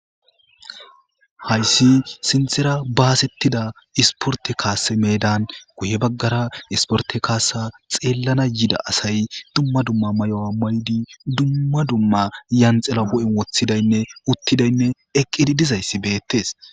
hayssi sintera baasettida isporte kaase meedan guye baggara isporte kaasa xeellana yida asay dumma dumma may7o7a ma77di dumma dumma yanxela bo7en woththidaynne uttidaynne eqqidi dizayssi beettes